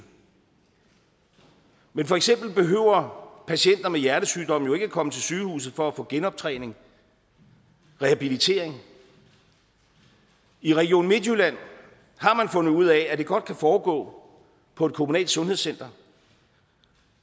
men for eksempel behøver patienter med hjertesygdomme jo ikke komme på sygehuset for at få genoptræning rehabilitering i region midtjylland har man fundet ud af at det godt kan foregå på et kommunalt sundhedscenter